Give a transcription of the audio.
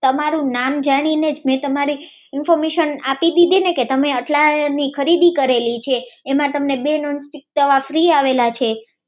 તમારું નામ જાણીને જ મેં તમારી ઇન્ફોર્મેશન આપી દીધીને કે તમે આટલાની ખરીદી કરેલી છે એમાં બે નોન સ્ટીક તવા ફ્રિ આવેલા છે